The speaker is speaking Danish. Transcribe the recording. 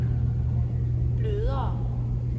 blødere